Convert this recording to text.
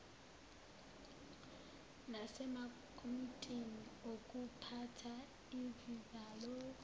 nasemakomitini okuphatha izizalo